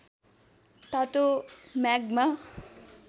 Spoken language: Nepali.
तातो म्याग्मा